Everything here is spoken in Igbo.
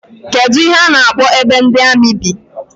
Kedụ ihe a na-akpọ ebe ndị amị bi?